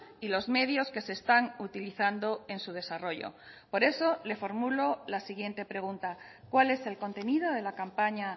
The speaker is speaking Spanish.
y los medios que se están utilizando en su desarrollo por eso le formulo la siguiente pregunta cuál es el contenido de la campaña